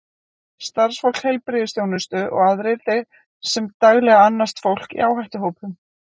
Starfsfólk heilbrigðisþjónustu og aðrir þeir sem daglega annast fólk í áhættuhópum.